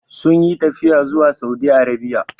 Sun yi tafiya zuwa Saudi Arabia.